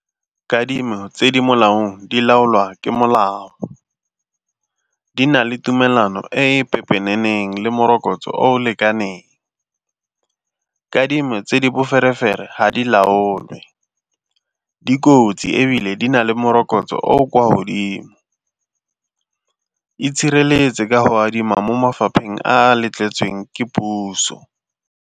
Kadimo tse di molaong di laolwa ke molao, di na le tumelano e pepeneneng le morokotso o o lekaneng. Kadimo tse di boferefere ha di laolwe, di kotsi ebile di na le morokotso o o kwa godimo, itshireletse ka go adima mo mafapheng a letleletsweng ke puso.